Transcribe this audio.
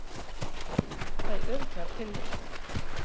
Fæ örugglega pillur